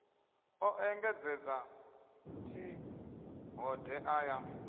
o engedzedza t hodea ya